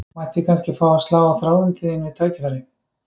Mætti ég kannski fá að slá á þráðinn til þín við tækifæri?